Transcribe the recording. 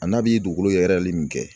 A n'a bi dugukolo yɛrɛ min kɛ